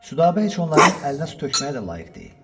Südabə heç onların əlinə su tökməyə də layiq deyil.